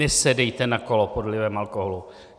Nesedejte na kolo pod vlivem alkoholu.